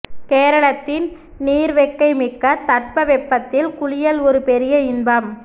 கேரளத்தின் நீர்வெக்கை மிக்க தட்பவெப்பத்தில் குளியல் ஒரு பெரிய இன்பம்